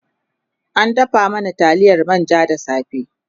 ta dafa mana taliyar manja da safe